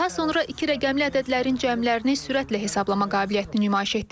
Daha sonra iki rəqəmli ədədlərin cəmlərini sürətlə hesablama qabiliyyətini nümayiş etdirir.